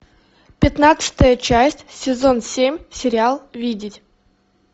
пятнадцатая часть сезон семь сериал видеть